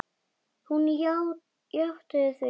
Hún játti því.